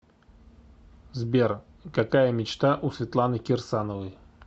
сбер какая мечта у светланы кирсановой